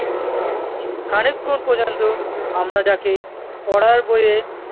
খানিক ক্ষন পর্যন্ত আমরা যাকে পড়ার বই-এ